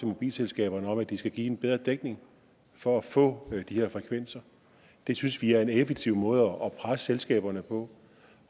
mobilselskaberne om at de skal give en bedre dækning for at få de her frekvenser det synes vi er en effektiv måde at presse selskaberne på